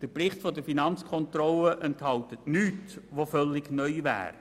Der Bericht der Finanzkontrolle enthält nichts völlig Neues.